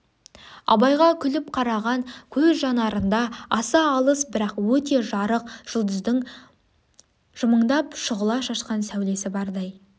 абайға күліп қараған көз жанарында аса алыс бірақ өте жарық жүлдыздың жымындап шүғыла шашқан сәулесі бардай